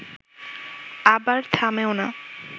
আবার থামেও না